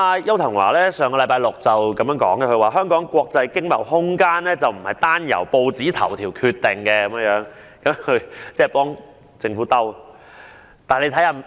邱騰華在上星期六表示，香港國際經貿空間不是單由報章頭條決定，其實他只是為政府自圓其說。